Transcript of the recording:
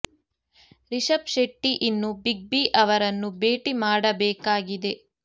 ರಿಷಬ್ ಶೆಟ್ಟಿ ಇನ್ನೂ Big B ಅವರನ್ನು ಭೇಟಿ ಮಾಡ ಬೇಕಾಗಿದೆ